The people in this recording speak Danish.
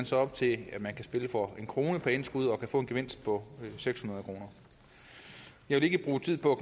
så op til at man kan spille for en kroner per indskud og kan få en gevinst på seks hundrede kroner jeg vil ikke bruge tid på at